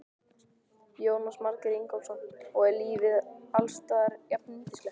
Jónas Margeir Ingólfsson: Og er lífið alls staðar jafnyndislegt?